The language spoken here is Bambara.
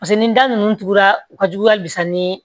Paseke ni da nunnu tugura u ka jugu hali bi sa ni